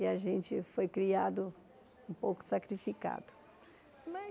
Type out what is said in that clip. E a gente foi criado um pouco sacrificado mas.